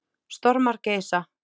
Stormar geisa.